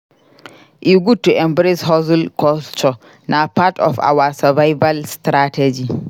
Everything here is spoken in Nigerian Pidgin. E good to embrace hustle culture; na part of our survival strategy.